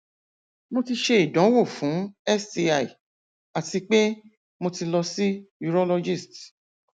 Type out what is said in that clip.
mo ti ṣe idanwo fun sti ati pe mo ti lọ si urologist